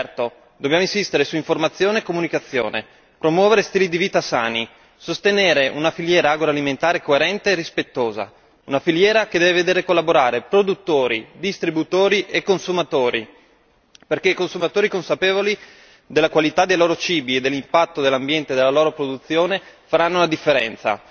Certo dobbiamo insistere su informazione e comunicazione, promuovere stili di vita sani, sostenere una filiera agroalimentare coerente e rispettosa, una filiera che deve vedere collaborare produttori, distributori e consumatori perché i consumatori consapevoli della qualità dei loro cibi e dell'impatto dell'ambiente della loro produzione faranno la differenza.